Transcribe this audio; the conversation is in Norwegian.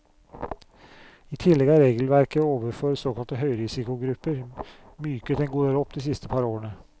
I tillegg er regelverket overfor såkalte høyrisikogrupper myket en god del opp de siste par årene.